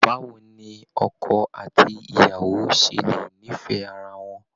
Báwo ni ọkọ àti ìyàwó ṣe lè nífẹ̀ẹ́ ara wọn!